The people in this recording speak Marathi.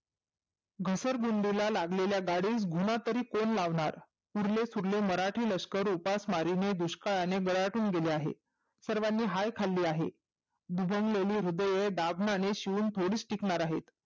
घसर गुंडीला लागलेल्या गाडीस घुमा तरी कोण लावणार. उरले सुरले मराठे लष्करउपास मारीने दुष्काळाने गराटून गेले आहे. सर्वांनी हाय खाल्ली आहे. दुभंगलेली हृदय दाभनाने शिवुन थोडीच टिकणार आहे.